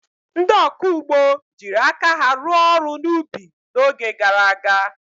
Ndị ọkụ ugbo jiri aka ha rụọ ọrụ n'ubi n'oge gara aga.